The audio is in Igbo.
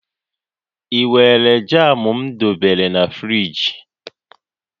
I weere jam m debere na friji?